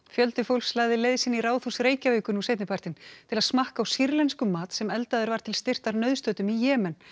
fjöldi fólks lagði leið sína í Ráðhús Reykjavíkur nú seinnipartinn til að smakka á sýrlenskum mat sem eldaður var til styrktar nauðstöddum í Jemen